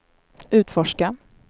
utforska